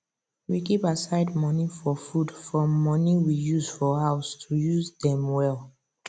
we keep aside money for food from money we use for house to use dem well